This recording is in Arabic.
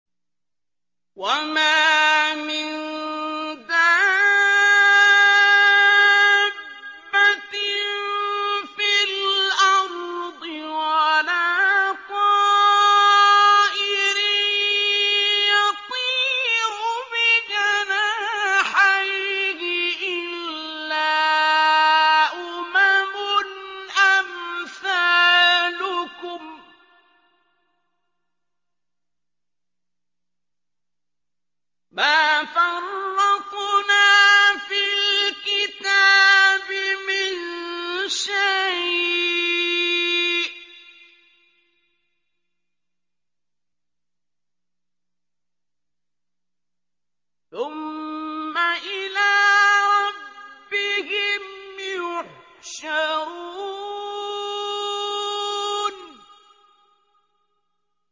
وَمَا مِن دَابَّةٍ فِي الْأَرْضِ وَلَا طَائِرٍ يَطِيرُ بِجَنَاحَيْهِ إِلَّا أُمَمٌ أَمْثَالُكُم ۚ مَّا فَرَّطْنَا فِي الْكِتَابِ مِن شَيْءٍ ۚ ثُمَّ إِلَىٰ رَبِّهِمْ يُحْشَرُونَ